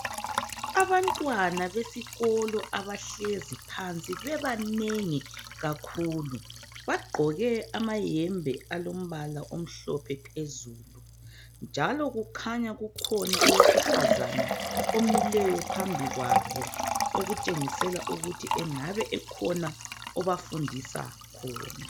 Abantwana besikolo abahlezi phansi esikolo bebanengi bagqoke amayunifomu afanayo njalo kukhona owesifazana omileyo phambili kwabo okhanya kukhona obafundisa khona.